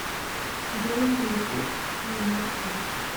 джой на ютуб немой фронт